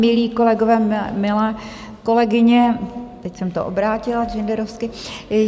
Milí kolegové, milé kolegyně - teď jsem to obrátila genderovsky.